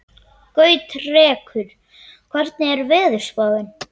Gautrekur, hvernig er veðurspáin?